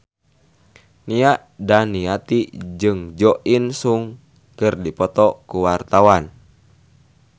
Nia Daniati jeung Jo In Sung keur dipoto ku wartawan